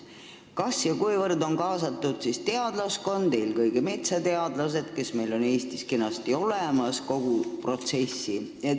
Kas ja kuivõrd on kogu protsessi kaasatud teadlaskond, eelkõige metsateadlased, kes meil Eestis on kenasti olemas?